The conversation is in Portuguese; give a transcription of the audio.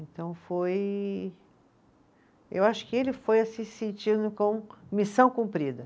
Então foi, eu acho que ele foi assim se sentindo com missão cumprida.